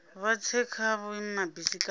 vha tse kha vhuimabisi kana